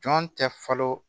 Jɔn tɛ falen